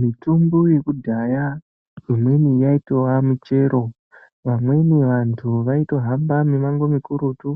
Mitombo yekudhaya imweni yaitova muchero vamweni vantu vaitohamba mimango mikurutu